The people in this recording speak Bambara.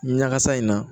Ɲagasa in na